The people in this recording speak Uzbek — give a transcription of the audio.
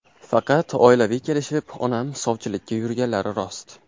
Faqat oilaviy kelishib, onam sovchilikka yurganlari rost.